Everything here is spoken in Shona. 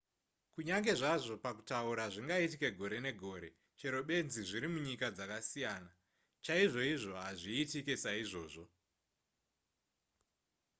kunyange zvazvo pakutaura zvingaitika gore negore chero benzi zviri munyika dzakasiyana chaizvoizvo haizvitiki saizvozvo